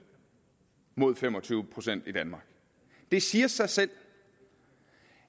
mod fem og tyve procent i danmark det siger sig selv